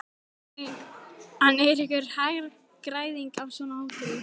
En er einhver hagræðing af svona hóteli?